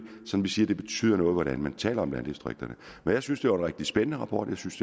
som vi siger noget hvordan man taler om landdistrikterne men jeg synes det er en rigtig spændende rapport jeg synes